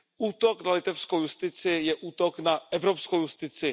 Útok na litevskou justici je útok na evropskou justici.